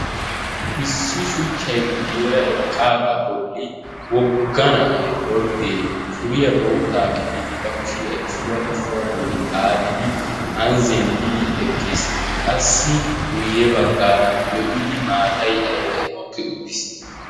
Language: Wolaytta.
Issi shuchchay guyera eqqaaga bolli wogga na'ay ordde suriyaa bootta gixiddi ba kushshiyaa issuwaa issuwa bolli xaaxiddi anni zemppiddi eqqis. Qassi guyee baggara lo'iddi maatay aybay mokki uttis.